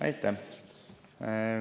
Aitäh!